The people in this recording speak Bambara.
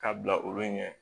K'a bila olu ɲɛ